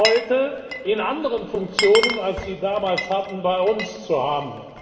heute in anderen Funktionen, als sie damals hatten, bei uns zu haben.